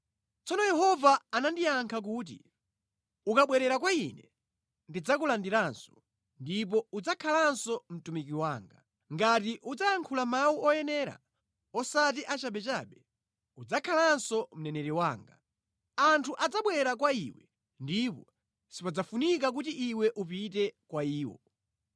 Tsono Yehova anandiyankha kuti, “Ukabwerera kwa Ine, ndidzakulandiranso ndipo udzakhalanso mtumiki wanga. Ngati udzayankhula mawu oyenera osati achabechabe, udzakhalanso mneneri wanga. Anthu adzabwera kwa iwe ndipo sipadzafunika kuti iwe upite kwa iwo.